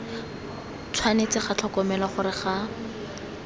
tshwanetse ga tlhokomelwa gore ga